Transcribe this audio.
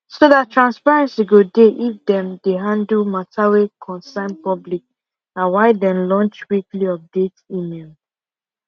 so that transparency go dey if them dey handle matter wa concern public na why dem launch weekly update email